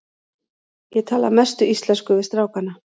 Ég tala að mestu íslensku við strákana.